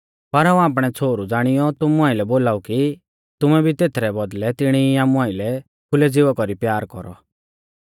पर हाऊं आपणै छ़ोहरु ज़ाणियौ तुमु आइलै बोलाऊ कि तुमै भी तेथरै बौदल़ै तिणी ई आमु आइलै खुलै ज़िवा कौरी प्यार कौरौ